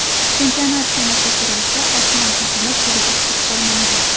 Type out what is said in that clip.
Chempionat sanasi surilsa, osmon uzilib, yerga tushib qolmaydi.